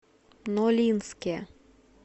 нолинске